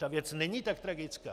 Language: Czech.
Ta věc není tak tragická.